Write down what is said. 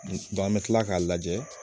dɔn an be kila k'a lajɛ